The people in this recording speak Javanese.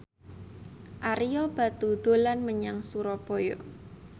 Ario Batu dolan menyang Surabaya